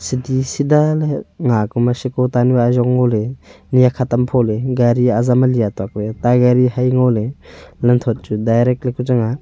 chadi sida ley nga ku ma shiko ta nu ajong ngo ley nyi hakhat tam pho ley gari azam ali atuak ley ta gari hai ngo ley lam thot chu direct laku chang nga.